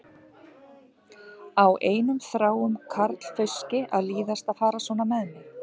Á einum þráum karlfauski að líðast að fara svona með mig?